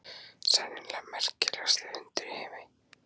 Sennilega merkilegasti hundur í heimi.